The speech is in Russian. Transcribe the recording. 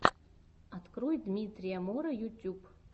открой дмитрия мора ютюб